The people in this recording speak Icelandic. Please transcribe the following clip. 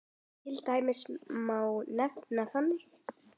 Til dæmis má nefna þennan